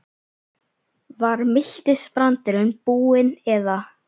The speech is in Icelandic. Var miltisbrandurinn búinn eða?